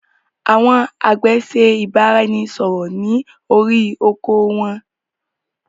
Àwọn àgbẹ̀ ṣe ìbáraẹnisọọ̀rọ̀ ni orí oko won.